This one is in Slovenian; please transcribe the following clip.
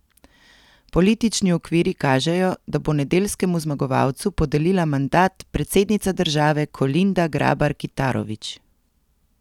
Politični okviri kažejo, da bo nedeljskemu zmagovalcu podelila mandat predsednica države Kolinda Grabar Kitarović.